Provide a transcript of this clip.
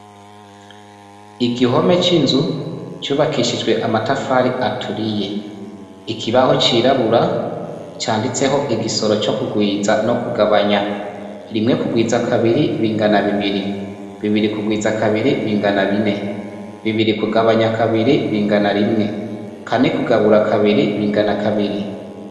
Igihome c'inzu cubakishijwe amatafari aturiye. Ikibaho cirabura canditseho igisoro co kugwiza no kugabanya. Rimwe kugwiza kabiri bingana bibiri. Bibiri kugwiza kabiri bingana bine. Bibiri kugabanya kabiri bingana rimwe. Kane kugabura kabiri bingana kabiri.